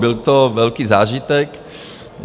Byl to velký zážitek.